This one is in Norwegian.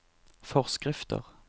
forskrifter